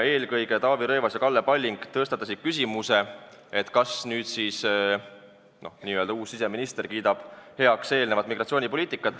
Eelkõige Taavi Rõivas ja Kalle Palling tõstatasid küsimuse, kas uus siseminister kiidab heaks eelneva migratsioonipoliitika.